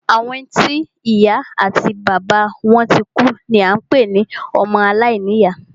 Àwọn tí ìya àti bàbá wọn tikú ni à ń pé ní ọmọ alàìní ìyá.